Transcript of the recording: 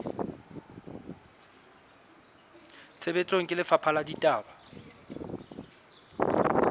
tshebetsong ke lefapha la ditaba